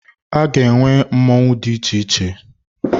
Aga enwe mmọnwụ dị iche iche.